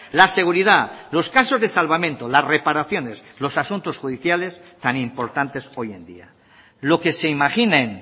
la seguridad los casos de salvamento las reparaciones los asuntos judiciales tan importantes hoy en día lo que se imaginen